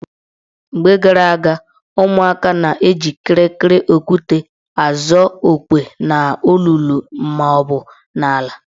Mgbe gara aga, ụmụaka na-eji kịrịkịrị okwute azụ okwe n' olulu maọbụ n' ala.